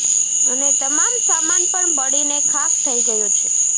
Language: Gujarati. અને તમામ સામાન પણ બળીને ખાખ થઇ ગયો છે